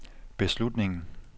beslutningen